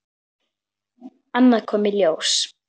Annað kom í ljós.